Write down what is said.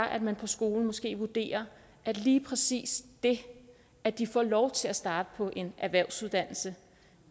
at man på skolen måske vurderer at lige præcis det at de får lov til at starte på en erhvervsuddannelse